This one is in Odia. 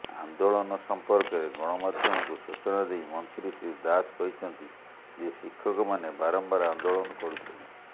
ଆନ୍ଦୋଳନ ସମ୍ପର୍କରେ ଗଣମାଧ୍ୟମକୁ ସୂଚନା ଦେଇ ମନ୍ତ୍ରୀ ଶ୍ରୀ ଦାସ କହିଛନ୍ତି ଯେ ଶିକ୍ଷକମାନେ ବାରମ୍ବାର ଆନ୍ଦୋଳନ କରୁଛନ୍ତି